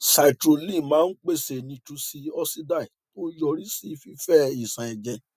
citrulline máa ń pèsè nitric oxide tó ń yọrí sí fífẹ ìṣàn ẹjẹ